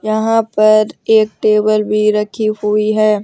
यहां पर एक टेबल भी रखी हुई है।